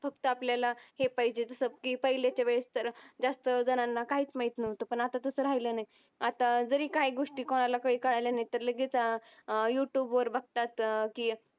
फक्त आपल्याला हे पाहिजे पहिले जास्त जनांना कायीच माहित नाहुत पण अत्ता तस राहील नाही. अत्ता तरी काय गोष्टी कुणाला काय कळाला नाही तर लगेच युटूब वर बगतात